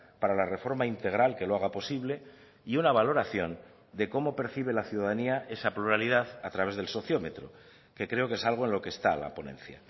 para la reforma integral que lo haga posible y una valoración de cómo percibe la ciudadanía esa pluralidad a través del sociómetro que creo que es algo en lo que está la ponencia